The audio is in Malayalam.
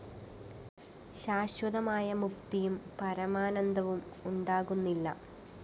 ശാശ്വതമായ മുക്തിയും പരമാനന്ദവും ഉണ്ടാകുന്നില്ല